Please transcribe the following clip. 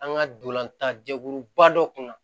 An ka dolantan jɛkuluba dɔ kun na